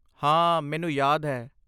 ਹਾਂ, ਮੈਨੂੰ ਯਾਦ ਹੈ।